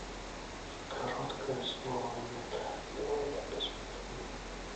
короткое слово нет давай я посмотрю